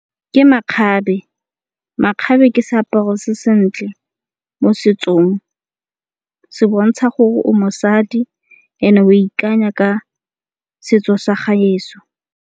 Ke makgabe, makgabe ke seaparo se sentle mo setsong. Se bontsha gore o mosadi e ne o ikanya ka setso sa gaetsho.